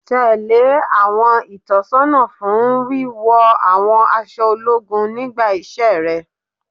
Tẹ́lẹ̀ àwọn ìtọ́sọ́nà fún wíwọ àwọn aṣọ ológun nígbà iṣẹ́ rẹ